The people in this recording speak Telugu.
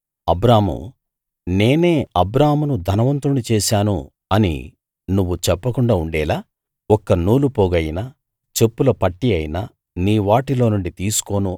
అబ్రాము దేవుడైన యెహోవా అబ్రామును ధనవంతుణ్ణి చేశాను అని నువ్వు చెప్పకుండా ఉండేలా ఒక్క నూలు పోగైనా చెప్పుల పట్టీ అయినా నీ వాటిలోనుండి తీసుకోను